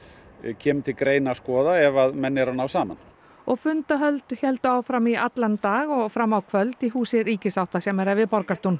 kemur til greina að skoða ef að menn eru að ná saman og fundahöld héldu áfram í allan dag og fram á kvöld í húsi ríkissáttasemjara við Borgartún